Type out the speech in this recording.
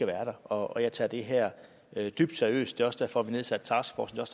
være og jeg tager det her dybt seriøst det er også derfor vi har nedsat taskforcen og